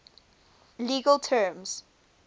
legal terms